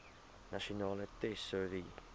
nasionale tesourie